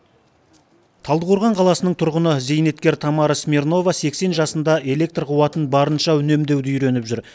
талдықорған қаласының тұрғыны зейнеткер тамара смирнова сексен жасында электр қуатын барынша үнемдеуді үйреніп жүр